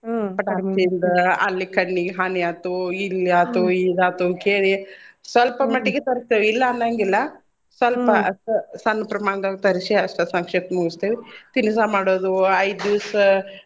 ಹಚ್ಚಿಂದ ಅಲ್ಲಿ ಕಣ್ಣಿಗ್ ಹಾನಿ ಆತೋ ಇಲ್ಲಿ ಆತೋ ಇದಾತೋ ಕೇಳಿ ಸ್ವಲ್ಪ ಮಟ್ಟಿಗೆ ತರ್ತೀವಿ ಇಲ್ಲಾ ಅನ್ನಂಗಿಲ್ಲ ಸ್ವಲ್ಪ ಅಷ್ಟ ಸಣ್ ಪ್ರಮಾಣ್ದೋಳ್ಗ ತರಸಿ ಅಷ್ಟ ಸಂಕ್ಷಿಪ್ತ ಮುಗಸ್ತಿವಿ. ಕೀಲ್ಸ ಮಾಡುದು ಐದ್ ದೀವ್ಸ್.